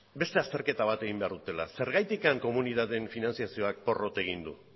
beste azterketa bat egin behar dutela zergatik komunitateen finantzazioak porrot egin du